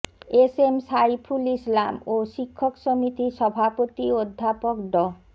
S M Saiful Islam ও শিক্ষক সমিতির সভাপতি অধ্যাপক ড